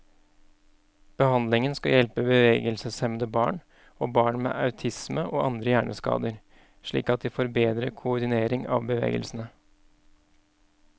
Behandlingen skal hjelpe bevegelseshemmede barn, og barn med autisme og andre hjerneskader slik at de får bedre koordinering av bevegelsene.